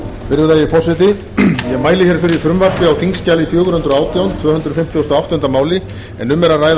á þingskjali fjögur hundruð og átján tvö hundruð fimmtugasta og áttunda máli en um er að ræða frumvarp til laga um